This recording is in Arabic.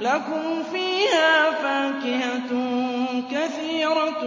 لَكُمْ فِيهَا فَاكِهَةٌ كَثِيرَةٌ